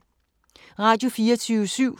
Radio24syv